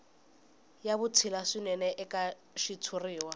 ya vutshila swinene eka xitshuriwa